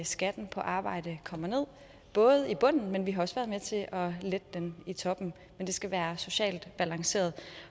skatten på arbejde kommer ned både i bunden men vi har også været med til at lette den i toppen men det skal være socialt balanceret